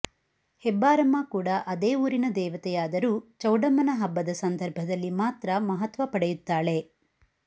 ಹೆಬ್ಬಾರಮ್ಮ ಕೂಡ ಅದೇ ಊರಿನ ದೇವತೆಯಾದರೂ ಚೌಡಮ್ಮನ ಹಬ್ಬದ ಸಂದರ್ಭದಲ್ಲಿ ಮಾತ್ರ ಮಹತ್ವ ಪಡೆಯುತ್ತಾಳೆ